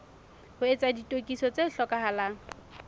ho etsa ditokiso tse hlokahalang